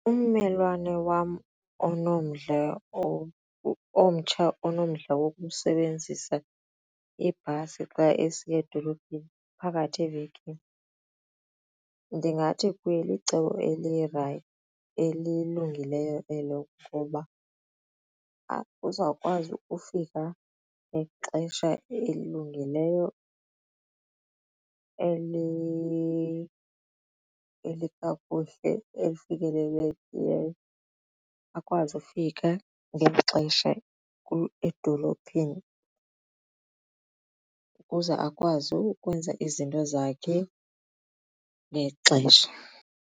Ummelwane wam onomdla omtsha onomdla wokusebenzisa ibhasi xa esiya edolophini phakathi evekini ndingathi kuye licebo elilungileyo elo ngoba uzawukwazi ukufika ngexesha elilungileyo elikakuhle elifikelelekileyo akwazi ufika ngexesha edolophini ukuze akwazi ukwenza izinto zakhe ngexesha.